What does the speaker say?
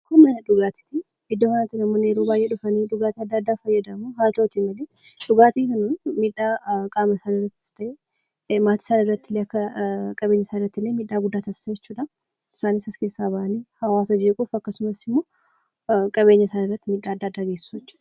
Kun mana dhugaatii yoo ta'u, namoonni hedduu iddoo kanatti dhufanii kan fayyadaman yoo ta'u, dhugaatii kan dhuguun miidhaa guddaa geessisa jechuudha. Namoonni dhugan asii bahanii nama jeequu fi qabeenya isaaniirratti miidhaa geessisu jechuudha.